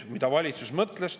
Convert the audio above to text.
Mida valitsus siis mõtles?